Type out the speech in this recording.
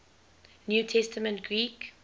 new testament greek